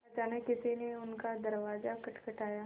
अचानक किसी ने उनका दरवाज़ा खटखटाया